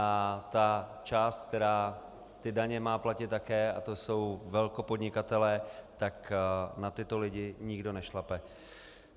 A ta část, která ty daně má platit také, a to jsou velkopodnikatelé, tak na tyto lidi nikdo nešlape.